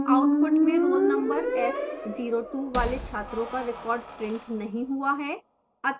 output में roll number s02 वाले छात्रों का record printed नहीं हुआ है